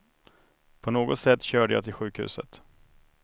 På något sätt körde jag till sjukhuset.